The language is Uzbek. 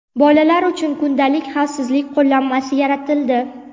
Bolalar uchun kundalik xavfsizlik qo‘llanmasi yaratildi.